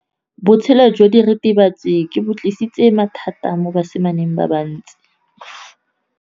Botshelo jwa diritibatsi ke bo tlisitse mathata mo basimaneng ba bantsi.